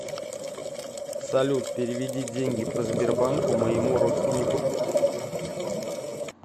салют переведи деньги по сбербанку моему родственнику